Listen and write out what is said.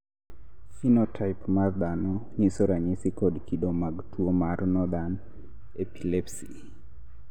phenotype mar dhano nyiso ranyisi kod kido mag tuwo mar Northern epilepsy.